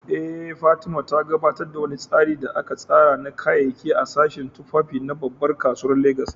Eh, Fatima, ta gabatar da wani tsari da aka tsara na kayayyaki a sashen tufafi na babbar kasuwar Legas.